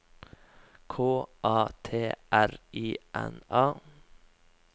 K A T R I N A